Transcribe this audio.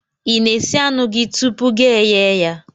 I na-esi anụ gị tupu gị eyee ya?